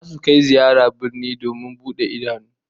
Zasu kai ziyara birni domin bude idanu